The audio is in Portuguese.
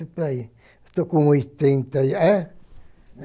por aí. Estou com oitenta e... É?